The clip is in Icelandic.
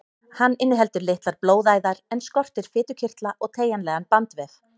Hann inniheldur litlar blóðæðar en skortir fitukirtla og teygjanlegan bandvef.